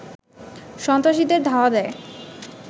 সন্ত্রাসীদের ধাওয়া দেয়